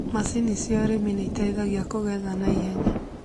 Macini cia ũrĩmi nĩitethagia kũgetha kwa naihenya